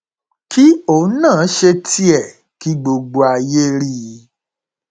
kí òun náà ṣe tiẹ kí gbogbo ayé rí i